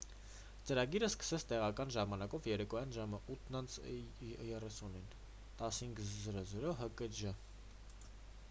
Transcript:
ծրագիրը սկսեց տեղական ժամանակով երեկոյան ժամը 8:30-ին 15.00 հկժ: